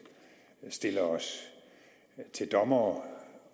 stille os til dommere